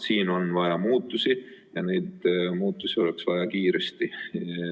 Siin on vaja muutusi ja neid muutusi oleks vaja kiiresti.